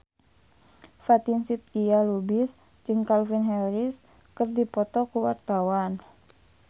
Fatin Shidqia Lubis jeung Calvin Harris keur dipoto ku wartawan